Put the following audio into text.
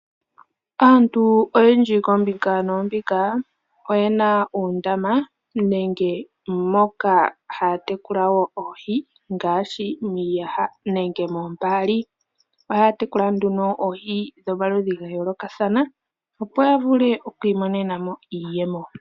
Aantu oyendji koombinga noombinga oyena uundama nenge moka hatekula wo oohi, ngaashi miiyaha nenge mombaali. ohaya tekula nduno oohi dhomaludhi gayooloka thana opo yavule okwiimo nenamo iiyemo.